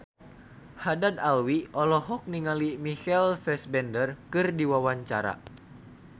Haddad Alwi olohok ningali Michael Fassbender keur diwawancara